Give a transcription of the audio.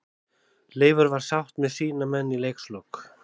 Leifur var sáttur með sína menn í leikslok.